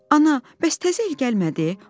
Ana, bəs təzə il gəlmədi?